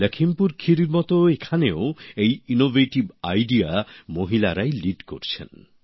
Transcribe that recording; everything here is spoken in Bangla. লখিমপুর খেরির মত এখানেও এই উদ্ভাবনমূলক উদ্যোগে মহিলারাই নেতৃত্ব দিয়েছেন